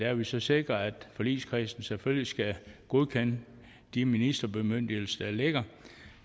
har vi så sikret at forligskredsen selvfølgelig skal godkende de ministerbemyndigelser der ligger